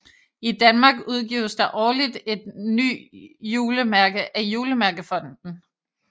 I Danmark udgives der årligt et nye julemærke af Julemærkefonden